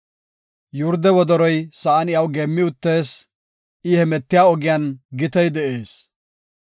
Yurde wodoroy sa7an iyaw geemmi uttees; I hemetiya ogiyan gitey de7ees.